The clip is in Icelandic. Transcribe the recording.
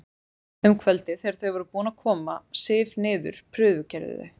Um kvöldið þegar þau voru búin að koma Sif niður prufukeyrðu þau